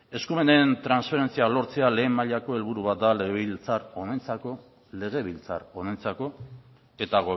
eskumenen transferentzia lortzea lehen mailako helburua da legebiltzar honentzako eta